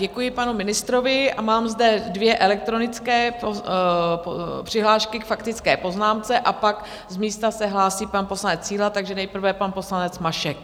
Děkuji panu ministrovi a mám zde dvě elektronické přihlášky k faktické poznámce a pak z místa se hlásí pan poslanec Síla, takže nejprve pan poslanec Mašek.